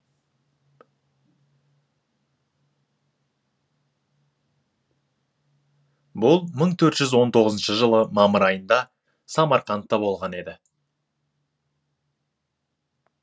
бұл мың төрт жүз он тоғызыншы жылы мамыр айында самарқандта болған еді